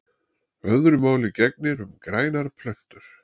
Öðru máli gegnir um grænar plöntur.